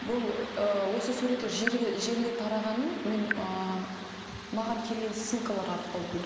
бұл ыыы осы суреттер желіге тарағанын мен ыыы маған келген ссылкалар арқылы